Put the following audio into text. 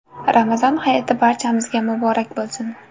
Ramazon hayiti barchamizga muborak bo‘lsin!